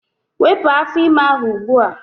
Wepụ afọ ime ahụ ugbua!